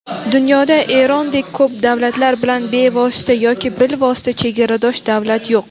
dunyoda Erondek ko‘p davlatlar bilan bevosita yoki bilvosita chegaradosh davlat yo‘q.